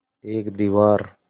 एक दीवार